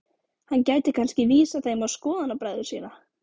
Hann gæti kannski vísað þeim á skoðanabræður sína.